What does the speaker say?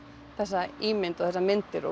þessa ímynd og þessar myndir